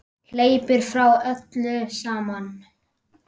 Hleypur frá öllu saman.